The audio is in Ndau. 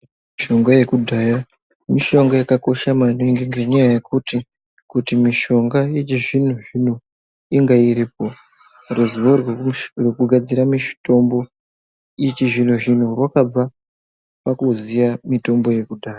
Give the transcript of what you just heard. Mishonga yekudhaya mishonga yakakosha maningi ngenyaya yekuti kuti mishonga yechizvino zvino inge iripo ruziwo rwekugadzira mitombo yechizvino zvino rwakabva pakuziya mitombo yekudhaya.